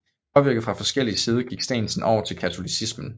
Påvirket fra forskellig side gik Steensen over til katolicismen